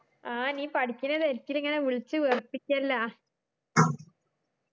ആ നീ പഠിക്കണ്ട തിരക്കില് ഇങ്ങന വിളിച് വെറുപ്പിക്കല്ല